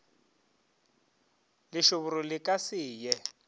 lešoboro le ka se ye